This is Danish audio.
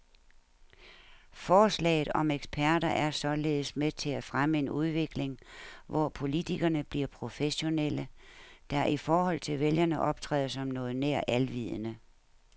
Forslaget om eksperter er således med til at fremme en udvikling, hvor politikerne bliver professionelle, der i forhold til vælgerne optræder som noget nær alvidende.